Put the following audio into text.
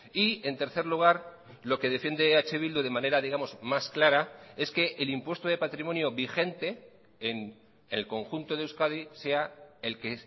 y en tercer lugar lo que defiende eh bildu de manera digamos más clara es que el impuesto de patrimonio vigente en el conjunto de euskadi sea el que